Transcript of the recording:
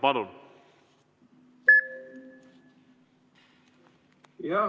Palun!